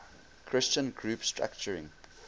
christian group structuring